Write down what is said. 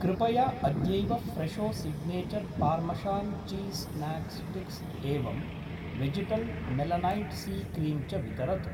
कृपया अद्यैव Fresho signature parmesan cheese snack sticks एवं वेजिटल् मेलनैट् सी क्रीम् च वितरतु।